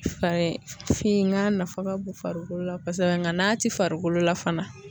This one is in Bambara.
Farifin n'a nafa ka bon farikolo la kosɛbɛ nga n'a ti farikolo la fana